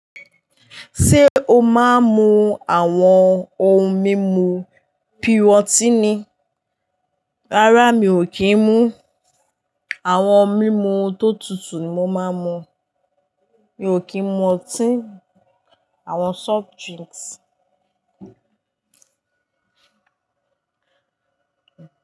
Ṣé o máa ń mu àwọn ohun mímu pìrọ́tíìnì? Rárá, mi ò kí ń mu. Àwọn mímu tó tutù ni mo má ń mu. Mi ò kí ń mu ọtí, àwọn soft drinks.